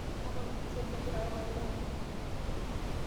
Tapala Ochieng kegira papai lenye ayau endaa.